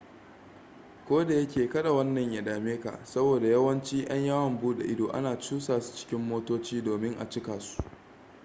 koda yake kada wannan ya dame ka saboda yawanci yan yawon bude ido ana cusa su cikin motoci domin a cikasu